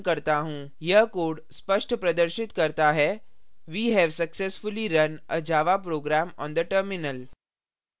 यह code स्पष्ट प्रदर्शित करता है we have successfully run a java program on the terminal